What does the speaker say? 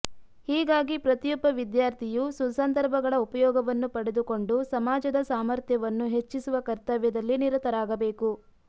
ಹೀಗಾಗಿ ಪ್ರತಿಯೊಬ್ಬ ವಿದ್ಯಾರ್ಥಿಯು ಸುಸಂದರ್ಭಗಳ ಉಪಯೋಗವನ್ನು ಪಡೆದುಕೊಂಡು ಸಮಾಜದ ಸಾಮರ್ಥ್ಯವನ್ನು ಹೆಚ್ಚಿಸುವ ಕರ್ತವ್ಯದಲ್ಲಿ ನಿರತರಾಗಬೇಕು